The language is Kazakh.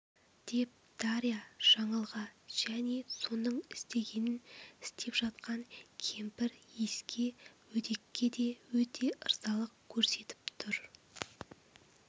деп дарья жаңылға және соның істегенін істеп жатқан кемпір иіске өдекке де өте ырзалық көрсетіп тұр